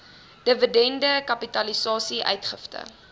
dividende kapitalisasie uitgifte